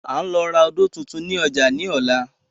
À ń lọ ra odò tuntun ni ọjà ni ọ̀la